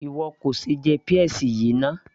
ìwọ kò ṣe jẹ peas yìí náà